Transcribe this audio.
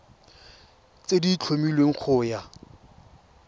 tse di tlhomilweng go ya